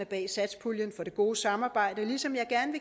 bag satspuljen for det gode samarbejde ligesom jeg gerne